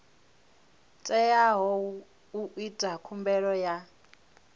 teaho u ita khumbelo ya